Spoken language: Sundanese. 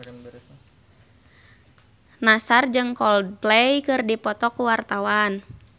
Nassar jeung Coldplay keur dipoto ku wartawan